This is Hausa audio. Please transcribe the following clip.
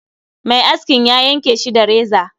Mai askin ya yanke Shi da reza